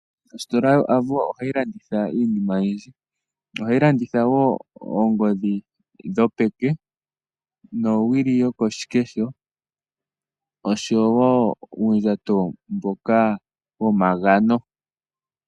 Ositola yoAvo ohayi landitha iinima oyindji. Ohayi landitha wo oongodhi dhopeke, nowili yokoshikesho osho wo uundjato mboka womagano.